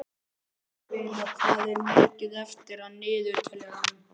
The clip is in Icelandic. Sigurvina, hvað er mikið eftir af niðurteljaranum?